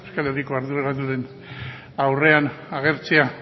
euskal herriko arduradunen aurrean agertzea